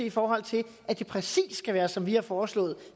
i forhold til at det præcis skal være som vi har foreslået